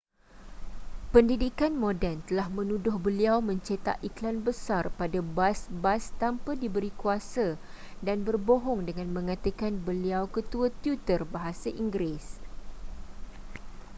pendidikan moden telah menuduh beliau mencetak ikhlan besar pada bas-basa tanpa diberi kuasa dan berbohong dengan mengatakan beliau ketua tutor bahasa inggeris